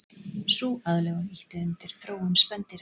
Sú aðlögun ýtti undir þróun spendýra.